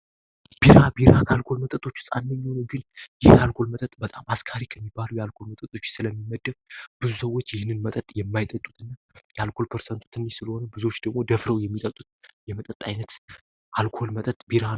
ቢራ ቢራ አልኮል መጠቶቹ ፃነኝውኑ ግን ይህ አልኮል መጠጥ በጣም አስካሪ ከሚባሉ የአልኮል መጠጦች ስለሚመደብ ብዙ ሰዎች ይህንን መጠጥ የማይጠጡት እና የአልኮል ፐርሰንቱ ትንሽ ስለሆነ ብዙች ደግሞ ደፍረው የሚጠጡት የመጠጥ ዓይነት አልኮል መጠት ቢ